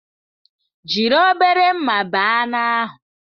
Jiri obere mma bee anụ ahụ!